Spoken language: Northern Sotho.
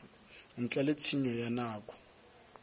ntle le tshenyo ya nako